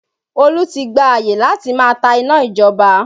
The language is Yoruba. Olú ti gba àyè láti máa ta iná ìjọba